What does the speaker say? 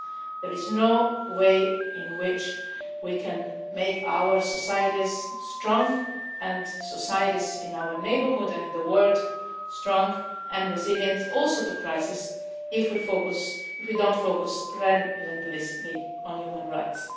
There is no way in which we can make our societies strong and societies in our neighbourhood and in the world strong and resilient also to crises if we do not focus relentlessly on human rights.